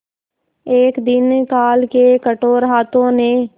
एक दिन काल के कठोर हाथों ने